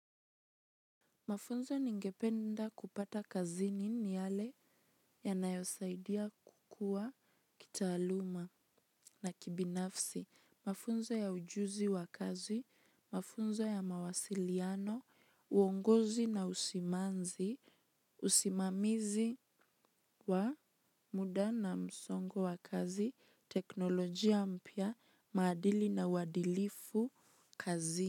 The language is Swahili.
Mafunzo ningependa kupata kazini ni yale yanayosaidia kukua kitaaluma na kibinafsi mafunzo ya ujuzi wa kazi, mafunzo ya mawasiliano, uongozi na usimanzi, usimamizi wa muda na msongo wa kazi, teknolojia mpya, maadili na wadilifu kazini.